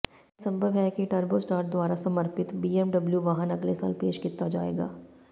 ਇਹ ਸੰਭਵ ਹੈ ਕਿ ਟਾਰਬੋਸਟੈਮਰ ਦੁਆਰਾ ਸਮਰਪਿਤ ਬੀਐਮਡਬਲਿਊ ਵਾਹਨ ਅਗਲੇ ਸਾਲ ਪੇਸ਼ ਕੀਤਾ ਜਾਏਗਾ